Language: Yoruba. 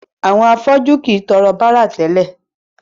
Àwọn afọ́jú kìí tọrọ bárà tẹ́lẹ̀.